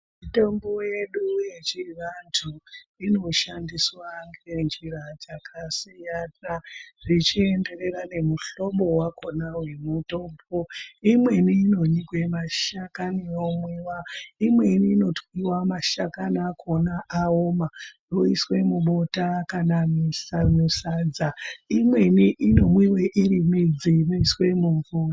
Mitombo yedu yechiantu inoshandiswa ngenjira dzakasiyana zvichienderera nemuhlobo vakona vemutombo. lmweni inonyikwe mashakani yomwiva ,imweni inotwiva mashakani akona aoma yoiswe mubota kana musadza, imweni inomwiva iri midzi inoiswe mumvura.